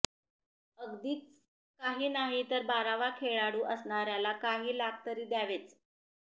अगदीच काही नाही तर बारावा खेळाडू असणार्याला काही लाख तरी द्यावेच